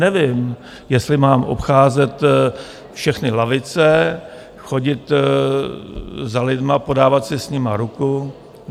Nevím, jestli mám obcházet všechny lavice, chodit za lidmi, podávat si s nimi ruku.